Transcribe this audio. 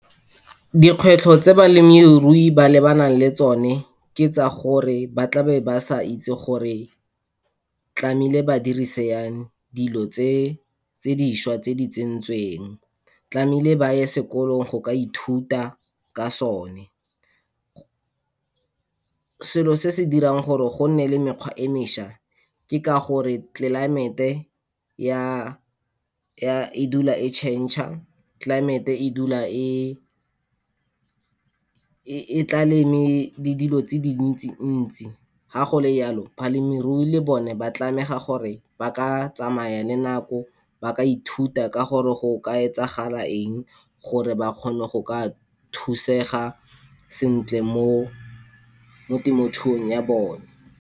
Dikgwetlho tse balemirui ba lebanang le tsone ke tsa gore, ba tla be ba sa itse gore tlamehile ba dirisi yang dilo tse tse dišwa tse di tsentsweng. tlamehile ba ye sekolong go ka ithuta ka sone. Selo se se dirang gore gonne le mekgwa e mešwa ke ka gore climate-e ya, e dula e change-a, climate-e e dula e e tla le me, le dilo tse dintsi ntsi. Ga go le yalo, balemirui le bone ba tlameha gore ba ka tsamaya le nako, ba ka ithuta ka gore go ka etsagala eng gore ba kgone go ka thusega sentle mo temothuong ya bone.